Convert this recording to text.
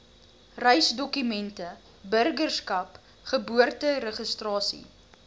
reisdokumente burgerskap geboorteregistrasie